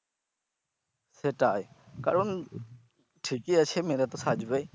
সেটাই কারণ ঠিকই আছে মেয়েরা তো সাজবেই।